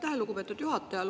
Aitäh, lugupeetud juhataja!